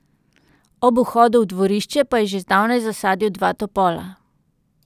Ob vhodu v dvorišče pa je že zdavnaj zasadil dva topola.